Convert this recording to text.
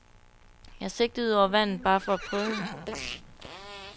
Jeg sigtede ud over vandet bare for at prøve.